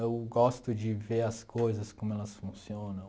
Eu gosto de ver as coisas, como elas funcionam.